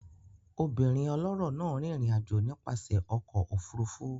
Obìnrin ọlọ́rọ̀ náà rìnrìn àjò nípasẹ̀ ọkọ̀ òfurufú